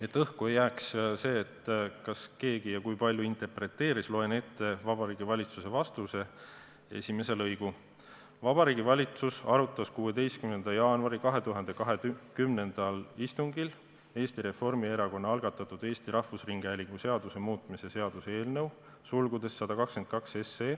Et õhku ei jääks see, kas keegi ja kui palju interpreteeris, loen ette Vabariigi Valitsuse vastuse esimese lõigu: "Vabariigi Valitsus arutas 16. jaanuari 2020. aasta istungil Eesti Reformierakonna algatatud Eesti Rahvusringhäälingu seaduse muutmise seaduse eelnõu .